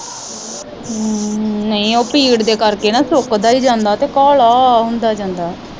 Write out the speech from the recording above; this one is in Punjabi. ਹਮ ਨਹੀਂ ਉਹ ਭੀੜ ਦੇ ਕਰਕੇ ਨਾ ਸੁੱਕਦਾ ਈ ਜਾਂਦਾ ਤੇ ਕਾਲਾ ਹੁੰਦਾ ਜਾਂਦਾ।